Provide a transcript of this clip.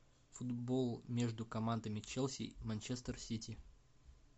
футбол между командами челси и манчестер сити